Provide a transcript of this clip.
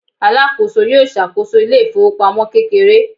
alakoso yíò ṣàkóso ile ifowopamọ kekere